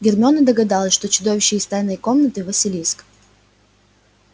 гермиона догадалась что чудовище из тайной комнаты василиск